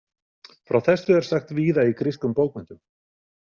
Frá þessu er sagt víða í grískum bókmenntum.